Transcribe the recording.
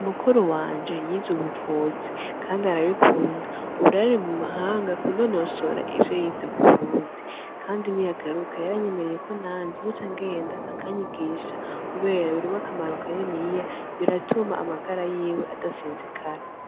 Mukuru wanje yiz'ubuvuzi, kandi arabikunda, ubu rero ari mu mahanga kunonosora ivyo yize m'uburundi, kandi niyagaruka yaranyemereye ko nanje nzoca ngenda akanyigisha, kubera birimwo akamaro kaniniya biratuma amagara yiwe adasinzikara.